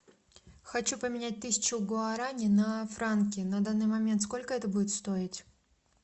хочу поменять тысячу гуарани на франки на данный момент сколько это будет стоить